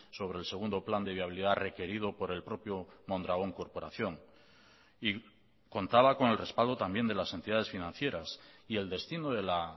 sobre el segundo plan de viabilidad requerido por el propio mondragón corporación y contaba con el respaldo también de las entidades financieras y el destino de la